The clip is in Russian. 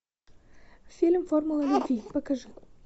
фильм формула любви покажи